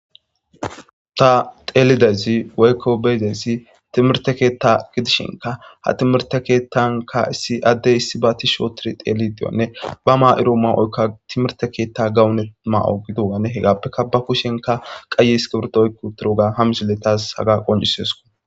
Ta teelidezi waykko beydesi timirte keetta gidishinka ha timirte keettanka issi addey issi ba ti shootir teeli diyonne ba maa7iro maa7oykka timirte keetta gawunet ma7o gidowane hegappekka ba kushenka qayi is kiburto oykku turoga hamisiletaas haga qonjiseesko.